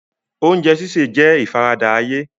Oúnjẹ sísè jẹ́ ìfaradà ayé.